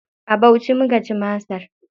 A Bauchi muka ci masar.